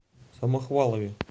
самохвалове